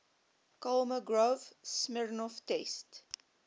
kolmogorov smirnov test